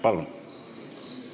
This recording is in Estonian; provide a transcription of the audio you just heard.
Palun!